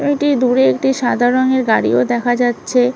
এইটি দূরে একটি সাদা রংয়ের গাড়িও দেখা যাচ্ছে।